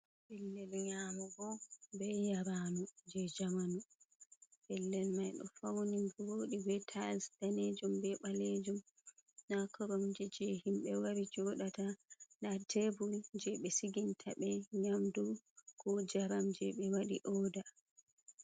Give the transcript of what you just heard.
Pellel nyamugo be yaranndu jei jamanu. Pellel mai ɗo fauni vodi be tais danejum be ɓalejum. Nda koramje jei himɓe wari sodata, nda tebul jei ɓe siginta ɓe nyamdu ko njaram jei ɓe waɗi oda.